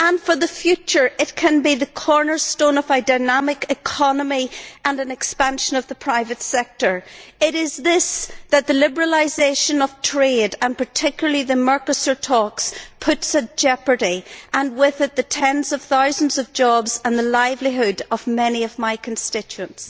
and for the future, it can be the cornerstone of a dynamic economy and an expansion of the private sector. It is this that the liberalisation of trade, and particularly the Mercosur talks, puts in jeopardy, and with it, the tens of thousands of jobs and the livelihood of many of my constituents.